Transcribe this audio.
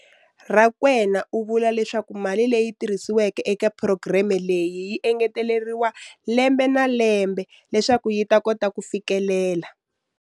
Rakwena u vula leswaku mali leyi tirhisiweke eka phurogireme leyi yi engeteriwa lembe na lembe leswaku yi kota ku fikelela.